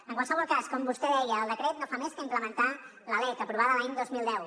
en qualsevol cas com vostè deia el decret no fa més que implementar la lec aprovada l’any dos mil deu